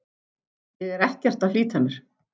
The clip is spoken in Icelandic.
Ég er ekkert að flýta mér.